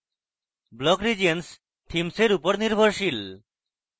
block regions themes এর উপর নির্ভরশীল